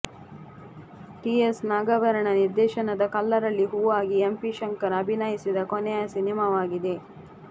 TS Nagabharana ನಿರ್ದೇಶನದ Kallarali Hoovagi M P Shankar ಅಭಿನಯಿಸಿದ ಕೊನೆಯ ಸಿನಿಮಾವಾಗಿದೆ